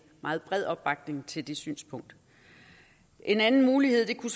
meget bred opbakning til det synspunkt en anden mulighed kunne